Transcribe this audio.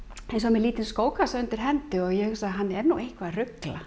lítinn skókassa undir hendi og ég hugsa hann er nú eitthvað að rugla